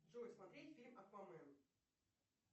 джой смотреть фильм аквамен